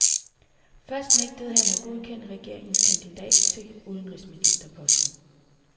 Først nægtede han at godkende regeringens kandidat til udenrigsministerposten.